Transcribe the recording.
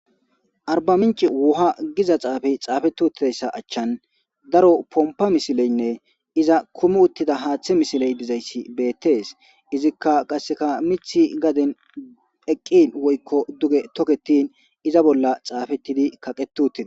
Arba Mincce wuha Giza xuufey xaafeti uttidayssa achchan daro pompa misileynne iza kumi uttida haathey misiley dizaysi beetes. Izikka qasse miithi garden duge eqqin woykko tokketin iza bolla xaafetidi kaqetii uttides.